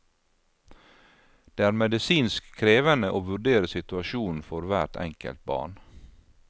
Det er medisinsk krevende å vurdere situasjonen for hvert enkelt barn.